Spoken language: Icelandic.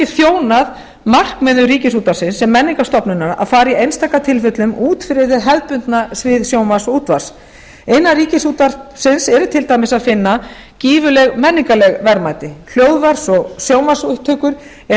þjónað markmiðum ríkisútvarpsins sem menningarstofnunar að fara í einstaka tilfellum út fyrir hið hefðbundna svið sjónvarps og útvarps innan ríkisútvarpsins er til dæmis að finna gífurleg menningarleg verðmæti hljóðvarps og sjónvarpsupptökur er